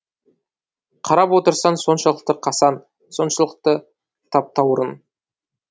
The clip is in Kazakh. қарап отырсаң соншалықты қасаң соншалықты таптаурын